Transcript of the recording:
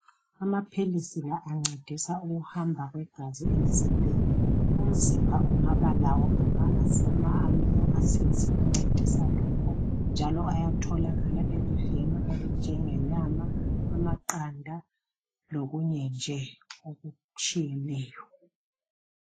Amaphilisi la ancedisa ukuhamba kwegazi emzimbeni , umzimba ungabalawo ama amino acids ancedisa lokho njalo ayatholakala okunjengenyama , amaqandablokunye nje okutshiyeneyo